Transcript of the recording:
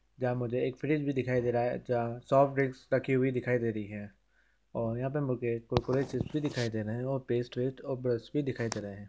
यहाँ मुझे एक फ्रिज भी दिखाई दे रहा है। जहां सोप्ट ड्रिंकस रखी दिखाई दे रही है। और यहाँ पे मुझे कुरकुरे चिप्प भी दिखाई दे रहे हैं। व पेस्ट - वेस्ट ब्रस भी दिखाई दे रहे हैं।